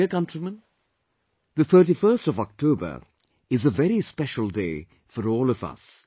My dear countrymen, 31st October is a very special day for all of us